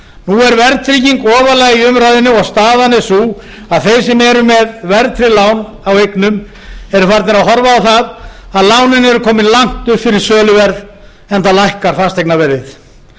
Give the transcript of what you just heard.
nú er verðtrygging ofarlega í umræðunni og staðan er sú að þeir sem eru með verðtryggð lán á eignum eru farnir að horfa á það að lánin eru komin langt upp fyrir söluverð enda lækkar fasteignaverðið